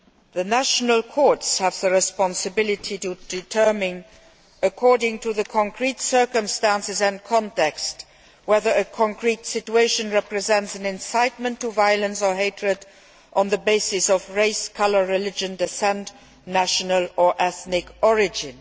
The national courts have the responsibility to determine according to the concrete circumstances and context whether a concrete situation represents an incitement to violence or hatred on the basis of race, colour, religion, descent, national or ethnic origin.